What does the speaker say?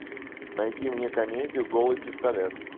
найди мне комедию голый пистолет